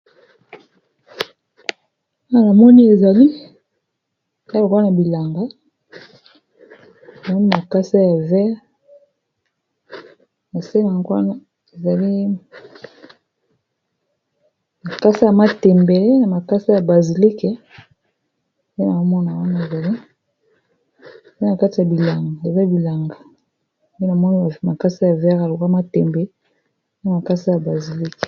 Awa namoni ezalokola na bilanga, namoni makasa ya mai ya pondu, na se nango wana nazomona eza neti makasa ya matembele na makasa ya basilike.